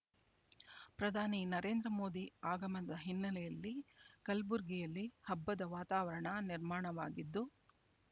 ಪ್ರಧಾನಿ ನರೇಂದ್ರ ಮೋದಿ ಆಗಮನದ ಹಿನ್ನೆಲೆಯಲ್ಲಿ ಕಲಬುರಗಿಯಲ್ಲಿ ಹಬ್ಬದ ವಾತಾವರಣ ನಿರ್ಮಾಣವಾಗಿದ್ದು